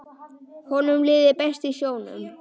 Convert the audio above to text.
Honum liði best í sjónum.